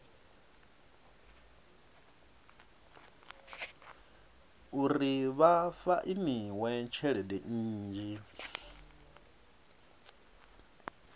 uri vha fainiwe tshelede nnzhi